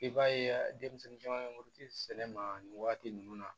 I b'a ye denmisɛnnin caman bɛ muruti sɛnɛ ma nin waati ninnu na